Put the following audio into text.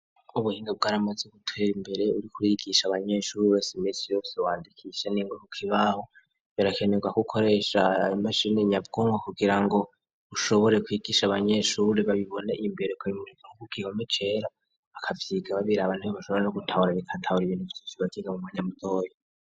Ubuhinga bwa ramaze gutera imbere kwigisha abanyeshure iminsi yose wandikisha ningwa kukibaho singombwa birakenerwa ko ukoresh imashini nyabwonko kugirango ushobore kwigisha abanyeshure babibona Imbere bakavyigaho bakavyiga babiraba niho umwanya mutoya.